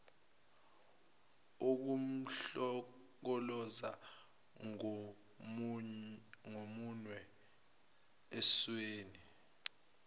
ukumhlokoloza ngomunwe esweni